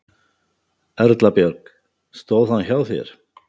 Erla Björg: Stóð hann hjá þér?